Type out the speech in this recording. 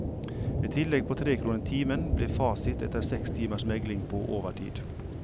Et tillegg på tre kroner timen ble fasit etter seks timers megling på overtid.